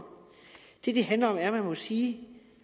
det det handler om er at man må sige